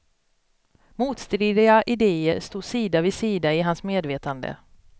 Motstridiga idéer stod sida vid sida i hans medvetande.